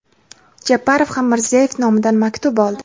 Japarov ham Mirziyoyev nomidan maktub oldi.